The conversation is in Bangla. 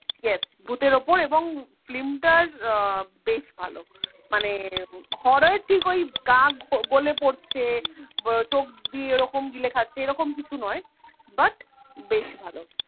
yes ভুতের ওপর এবং film টা উহ বেশ ভালো মানে horror ঠিক ওই কাক গলে পড়ছে চোখ দিয়ে ওরকম গিলে খাচ্ছে এরকম কিছু নয়, but বেশ ভালো